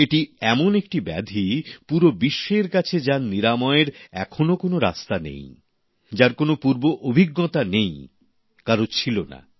এটি এমন একটি ব্যাধি পুরো বিশ্বের কাছে যার নিরাময়ের এখনো কোনো রাস্তা নেই যার কোনও পূর্ব অভিজ্ঞতা কারো ছিলোনা